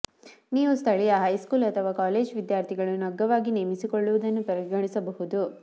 ನೀವು ಸ್ಥಳೀಯ ಹೈಸ್ಕೂಲ್ ಅಥವಾ ಕಾಲೇಜು ವಿದ್ಯಾರ್ಥಿಗಳನ್ನು ಅಗ್ಗವಾಗಿ ನೇಮಿಸಿಕೊಳ್ಳುವುದನ್ನು ಪರಿಗಣಿಸಬಹುದು